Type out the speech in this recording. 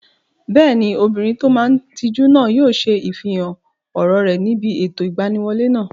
Bẹ́ẹ̀ni, obìnrin tó máa n tijú náà yóò ṣe ifihàn ọ̀rọ̀ rẹ̀ níbi ètò ìgbaniwọlé náà